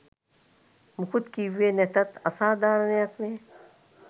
මුකුත් කිව්වේ නැතත් අසාධාරණයක් නේ.